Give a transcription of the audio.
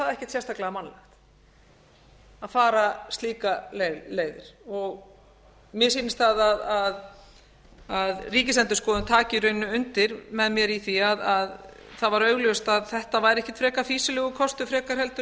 sérstaklega mannlegt að fara slíka leið mér sýnist að ríkisendurskoðun taki í rauninni undir með mér í því að það var augljóst að þetta var ekkert frekar fýsilegur kostur en